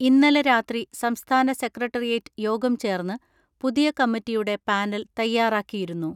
ഇന്നലെ രാത്രി സംസ്ഥാന സെക്രട്ടറിയേറ്റ് യോഗം ചേർന്ന് പുതിയ കമ്മിറ്റിയുടെ പാനൽ തയ്യാറാക്കിയിരുന്നു.